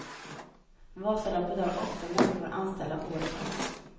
Vasaloppet har åtta människor anställda året om.